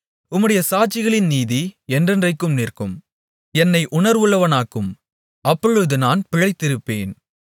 உம்முடைய சாட்சிகளின் நீதி என்றைக்கும் நிற்கும் என்னை உணர்வுள்ளவனாக்கும் அப்பொழுது நான் பிழைத்திருப்பேன்